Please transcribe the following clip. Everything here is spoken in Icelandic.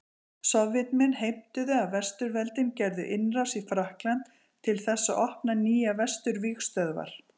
Sovétmenn heimtuðu að Vesturveldin gerðu innrás í Frakkland til þess að opna nýjar Vesturvígstöðvar.